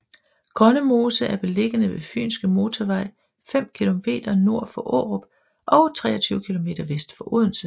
Grønnemose er beliggende ved Fynske Motorvej fem kilometer nord for Aarup og 23 kilometer vest for Odense